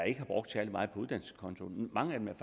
ikke har brugt særlig meget på uddannelseskontoen mange af dem er